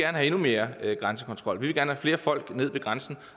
have endnu mere grænsekontrol vi vil gerne have flere folk ned ved grænsen